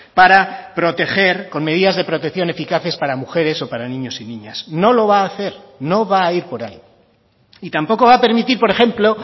para proteger con medidas de protección eficaces para mujeres o para niños y niñas no lo va a hacer no va a ir por ahí y tampoco va a permitir por ejemplo